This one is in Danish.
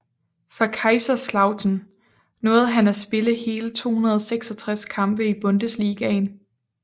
For Kaiserslautern nåede han at spille hele 266 kampe i Bundesligaen